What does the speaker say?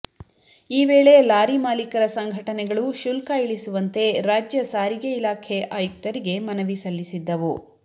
ಈ ವೇಳೆ ಲಾರಿ ಮಾಲೀಕರ ಸಂಘಟನೆಗಳು ಶುಲ್ಕ ಇಳಿಸುವಂತೆ ರಾಜ್ಯ ಸಾರಿಗೆ ಇಲಾಖೆ ಆಯುಕ್ತರಿಗೆ ಮನವಿ ಸಲ್ಲಿಸಿದ್ದವು